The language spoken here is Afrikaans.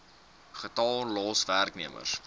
getal los werknemers